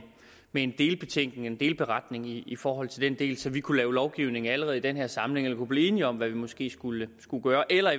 en delbetænkning en delberetning i forhold til den del så vi kunne lave lovgivning allerede i den her samling eller kunne blive enige om hvad vi måske skulle gøre eller at